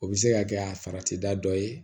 O bɛ se ka kɛ a farati da dɔ ye